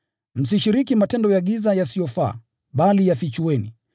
Msishiriki matendo ya giza yasiyofaa, bali yafichueni.